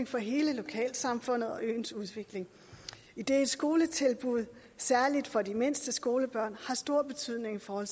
for hele lokalsamfundet og øens udvikling idet skoletilbud særlig for de mindste skolebørn har stor betydning for